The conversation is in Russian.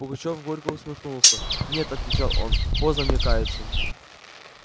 пугачёв горько усмехнулся нет отвечал он поздно мне каяться